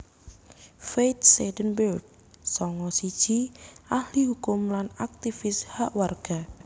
Faith Seidenberg sanga siji ahli kukum lan aktivis hak warga